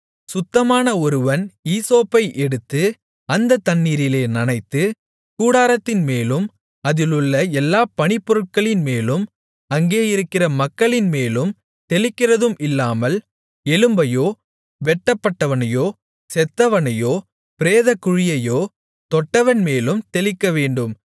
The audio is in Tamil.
சுத்தமான ஒருவன் ஈசோப்பை எடுத்து அந்த தண்ணீரிலே நனைத்து கூடாரத்தின்மேலும் அதிலுள்ள எல்லா பணிப்பொருட்களின்மேலும் அங்கேயிருக்கிற மக்களின்மேலும் தெளிக்கிறதும் இல்லாமல் எலும்பையோ வெட்டப்பட்டவனையோ செத்தவனையோ பிரேதக்குழியையோ தொட்டவன்மேலும் தெளிக்கவேண்டும்